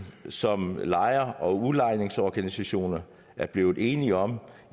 som lejer og udlejningsorganisationer er blevet enige om